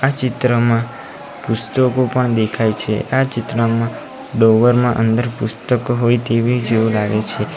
આ ચિત્રમાં પુસ્તકો પણ દેખાય છે આ ચિત્રમાં ડોવર મા અંદર પુસ્તકો હોય તેવી જેવું લાગે છે.